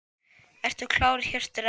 Ertu klár Hjörtur eða?